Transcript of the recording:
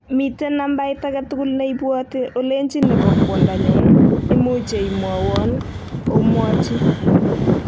Miten nambait agetugul neibwoti olechi nebo kwodanyun, imuche imwowon omwochi